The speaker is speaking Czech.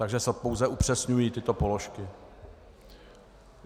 Takže se pouze upřesňují tyto položky.